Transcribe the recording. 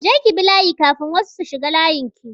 Je ki bi layi kafin wasu su shiga layin ki!